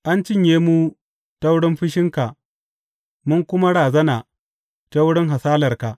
An cinye mu ta wurin fushinka mun kuma razana ta wurin hasalarka.